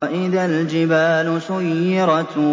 وَإِذَا الْجِبَالُ سُيِّرَتْ